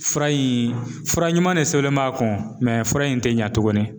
Fura in fura ɲuman de sɛbɛnlen b'a kun fura in ti ɲa tuguni